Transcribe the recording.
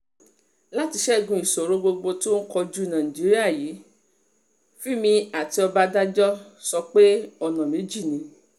láti ṣẹ́gun ìṣòro gbogbo tó ń kojú nàìjíríà yìí fímí àti ọbadànjọ́ sọ pé ọ̀nà méjì ni